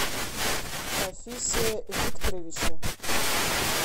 рафисе викторовиче